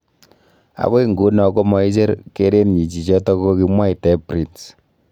Agoi nguno ko maicher kerenyi chichoto kokimwaitae, Prince.